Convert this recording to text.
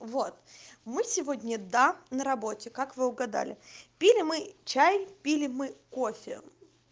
вот мы сегодня да на работе как вы угадали пили мы чай пили мы кофе